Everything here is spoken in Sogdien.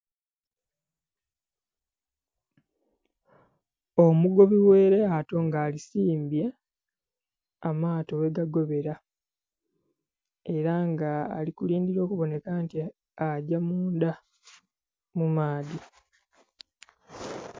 Omugobi oghe eryato nga alisimbye amaato ghe gagobera era nga alikulindha okuboneka nti agya munda mumaadhi.